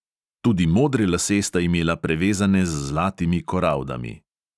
Tudi modre lase sta imela prevezane z zlatimi koraldami.